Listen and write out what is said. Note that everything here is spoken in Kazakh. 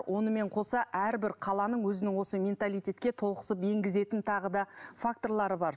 онымен қоса әрбір қаланың өзінің осы менталитетке толықсып енгізетін тағы да факторлары бар